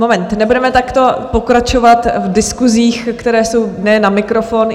Moment, nebudeme takto pokračovat v diskusích, které jsou ne na mikrofon.